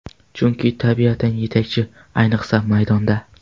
Chunki tabiatan yetakchi, ayniqsa maydonda.